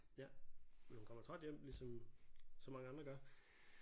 Ja men hun kommer træt hjem ligesom så mange andre gør